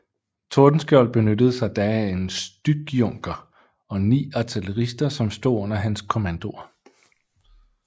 Tordenskjold benyttede sig da af en styckjunker og ni artillerister som stod under hans kommandoer